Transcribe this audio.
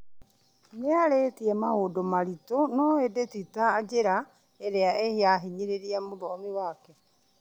Nĩarĩtie maũndũ maritũ, no ĩndĩ ti na njĩra ĩrĩa ĩrahinyĩrĩria mũthomi wake